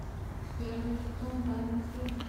первый сезон тайны следствия